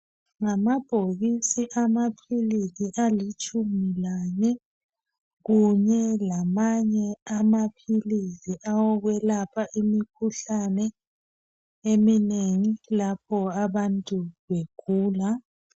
Ngamabhokisi amaphilisi alitshumi lane kunye lamanye amaphilisi awukwelapha imikhuhlane eminengi lapho abantu begula